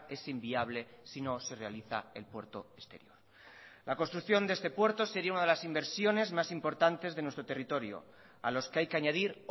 es inviable si no se realiza el puerto exterior la construcción de este puerto sería una de las inversiones más importantes de nuestro territorio a los que hay que añadir